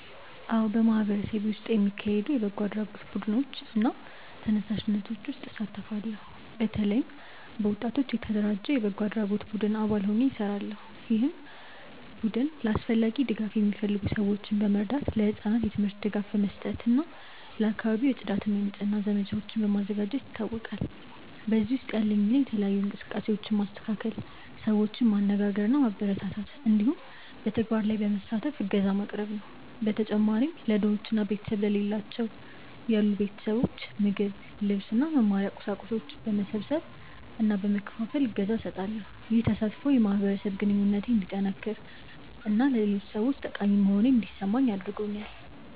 አዎ፣ በማህበረሰቤ ውስጥ የሚካሄዱ የበጎ አድራጎት ቡድኖች እና ተነሳሽነቶች ውስጥ እሳተፋለሁ። በተለይም በወጣቶች የተደራጀ የበጎ አድራጎት ቡድን አባል ሆኜ እሰራለሁ፣ ይህም ቡድን ለአስፈላጊ ድጋፍ የሚፈልጉ ሰዎችን በመርዳት፣ ለህጻናት የትምህርት ድጋፍ በመስጠት እና ለአካባቢው የጽዳት እና የንጽህና ዘመቻዎችን በማዘጋጀት ይታወቃል። በዚህ ውስጥ ያለኝ ሚና የተለያዩ እንቅስቃሴዎችን ማስተካከል፣ ሰዎችን ማነጋገር እና ማበረታታት እንዲሁም በተግባር ላይ በመሳተፍ እገዛ ማቅረብ ነው። በተጨማሪም ለድሆች እና ቤተሰብ ለሌላቸው ያሉ ቤተሰቦች ምግብ፣ ልብስ እና መማሪያ እቃዎች በመሰብሰብ እና በመከፋፈል እገዛ እሰጣለሁ። ይህ ተሳትፎ የማህበረሰብ ግንኙነቴን እንዲጠነክር እና ለሌሎች ሰዎች ጠቃሚ መሆኔን እንዲሰማኝ አድርጎኛል።